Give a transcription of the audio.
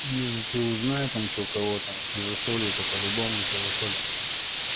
не ну ты узнай там что кого-то нашли за солью это по-любому что засолимся